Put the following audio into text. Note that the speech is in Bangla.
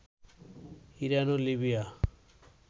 ইরান ও লিবিয়া